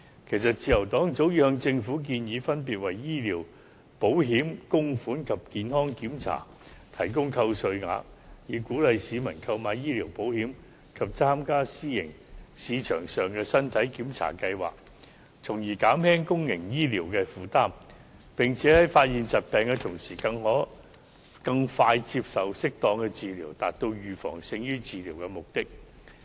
其實，自由黨早已向政府建議，分別為醫療保險供款及健康檢查提供扣稅額，以鼓勵市民購買醫療保險及參加私營市場上的身體檢查計劃，從而減輕公營醫療的負擔，並在發現疾病的同時可更快接受適當治療，達到"預防勝於治療"的目的。